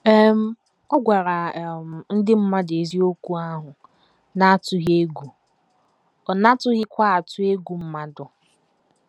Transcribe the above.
um Ọ gwara um ndị mmadụ eziokwu ahụ n’atụghị egwu, ọ natụghịkwa atụ egwu mmadụ.